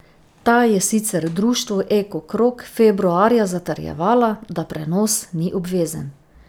Ta je sicer društvu Eko krog februarja zatrjevala, da prenos ni obvezen.